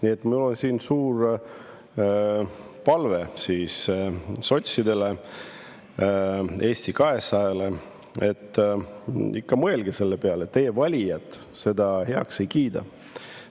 Nii et mul on siin suur palve sotsidele ja Eesti 200-le, et te ikka mõelge selle peale, et teie valijad seda heaks ei kiida.